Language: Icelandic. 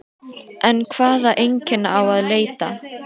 En hvaða einkenna á að leita?